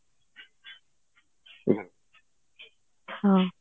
ହଁ